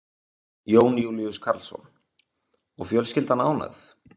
Jón Júlíus Karlsson: Og fjölskyldan ánægð?